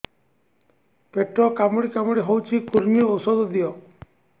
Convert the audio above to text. ପେଟ କାମୁଡି କାମୁଡି ହଉଚି କୂର୍ମୀ ଔଷଧ ଦିଅ